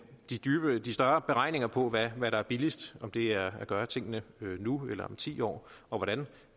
de større beregninger på hvad der er billigst om det er at gøre tingene nu eller om ti år og hvordan